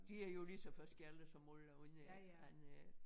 De er jo lige så forskellige som alle andre andre ik